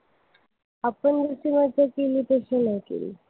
आपण जितकी मजा केली तितकी नाही केली